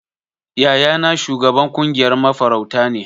Yayana shugaban kungiyar mafarauta ne.